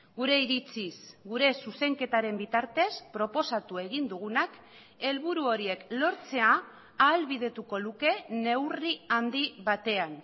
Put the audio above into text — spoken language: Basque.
gure iritziz gure zuzenketaren bitartez proposatu egin dugunak helburu horiek lortzea ahalbidetuko luke neurri handi batean